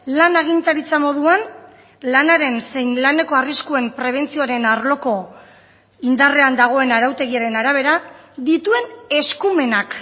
lan agintaritza moduan lanaren zein laneko arriskuen prebentzioaren arloko indarrean dagoen arautegiaren arabera dituen eskumenak